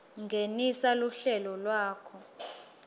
ngenisa luhlelo lwakho